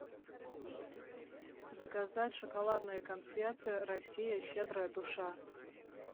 заказать шоколадные конфеты россия щедрая душа